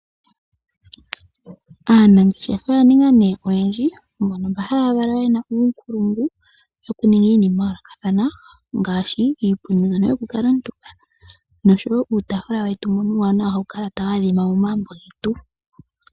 Aanangeshefa oya ninga nee oyendji mbo mba haya valwa yena uunkulungu wokuninga iinima yayoolokathana ngaashi iipundi mbyono yokukuutumba noshowo uutaafula wetu mbono uuwanawa hawu kala tawu adhima momagumbo getu.